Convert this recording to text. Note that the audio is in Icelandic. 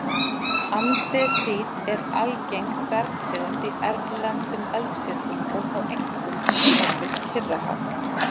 Andesít er algeng bergtegund í erlendum eldfjöllum og þá einkum umhverfis Kyrrahaf.